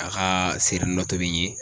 A ka seri dɔ tobi n ye.